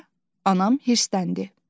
deyə anam hirsləndi.